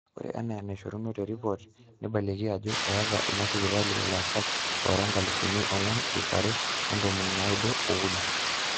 ore enaa enaishoruno terepot neibalieki ajo eeta ina sipitali ilaasak oora inkalifuni ong'wan ip are ontomoni naaudo ookuni